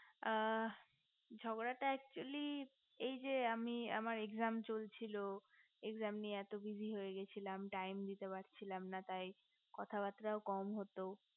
আ ঝগড়াটা actually এই যে আমি আমার exam চলছিল exam নিতে এত busy হয়ে গিয়েছিলাম time দিতে পারছিলাম না তাই কথাবার্তা কম হতো